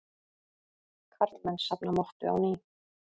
Karlmenn safna mottu á ný